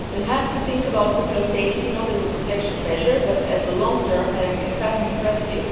We have to think about nuclear safety, not as a protection measure but as a long term and encompassing strategy.